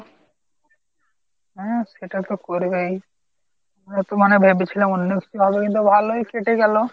হ্যাঁ সেটা তো করবেই। আমরা তো মানে ভেবেছিলাম অন্য কিছু হবে কিন্তু ভালোই কেটে গেল।